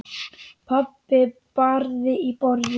Pabbi barði í borðið.